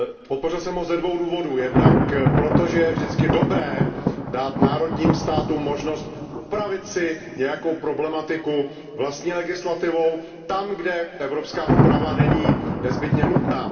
Podpořil jsem ho ze dvou důvodů, jednak proto, že je vždycky dobré dát národním státům možnost upravit si nějakou problematiku vlastní legislativou tam, kde evropská úprava není nezbytně nutná.